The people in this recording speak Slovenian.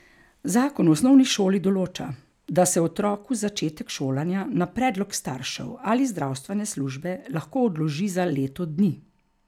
Zakon o osnovni šoli določa, da se otroku začetek šolanja na predlog staršev ali zdravstvene službe lahko odloži za leto dni.